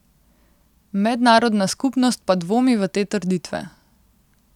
Mednarodna skupnost pa dvomi v te trditve.